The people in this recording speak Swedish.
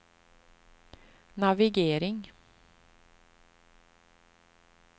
navigering